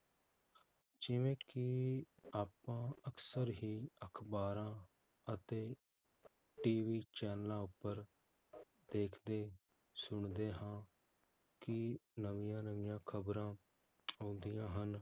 ਜਿਵੇ ਕਿ ਆਪਾਂ ਅਕਸਰ ਹੀ ਅਖਬਾਰਾਂ ਅਤੇ TV ਚੈਨਲਾਂ ਉਪਰ ਦੇਖਦੇ, ਸੁਣਦੇ ਹਾਂ, ਕਿ ਨਵੀਆਂ-ਨਵੀਆਂ ਖਬਰਾਂ ਆਉਂਦੀਆਂ ਹਨ